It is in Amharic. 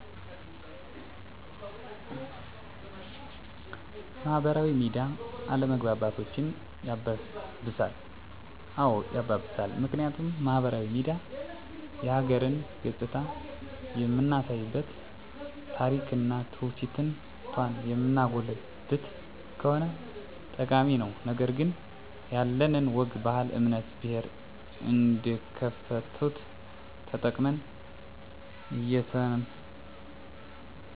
ማህበራዊ ሚዲያ አለመግባባቶችን ያባብሳል? አዎ ያባብሳል ምክንያቱም ማህበራዊ ሚዲያ የሀገርን ገፅታ የምናሳይበት ታሪክና ትውፊቷን የምናጎላበት ከሆነ ጠቃሚ ነው ነገር ግን ያለንን ወግ ባህል እምነት ብሔር እንደክፍተት ተጠቅመን እየሰነጠቅን ካራመድነው ወደ አላስፈላጊ እልቂት ወደ ማንወጣው አዘቅት ይከተናል የለጥሩ ነገር ካልተጠቀምንበት ቤተሰብ ሀገር እንዲፈርስ ያደርጋል አንድ ፖስት ወይም አስተያየት ወደ አላስፈላጊ ድራማ እንዴት እንደዞረ ለምሳሌ ጃዋር አህመድ አማራ መገደል አለበት ብሎ በመናገሩ በኦሮሚያ ክልል በአንድ ቀን 86 ንፁህ እትዮጵያን የተጨፈጨፉበት ይህ በማህበራዊ ሚዲያ የተላለፈ ነው